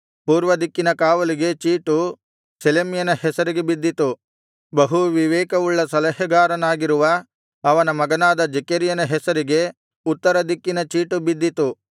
ಪೂರ್ವ ದಿಕ್ಕಿನ ಕಾವಲಿಗೆ ಚೀಟು ಶೆಲೆಮ್ಯನ ಹೆಸರಿಗೆ ಬಿದ್ದಿತು ಬಹು ವಿವೇಕವುಳ್ಳ ಸಲಹೆಗಾರನಾಗಿರುವ ಅವನ ಮಗನಾದ ಜೆಕೆರ್ಯನ ಹೆಸರಿಗೆ ಉತ್ತರ ದಿಕ್ಕಿನ ಚೀಟು ಬಿದ್ದಿತು